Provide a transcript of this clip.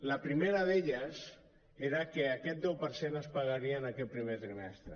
la primera d’elles era que aquest deu per cent es pagaria en aquest primer trimestre